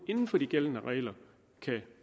inden for de gældende regler kan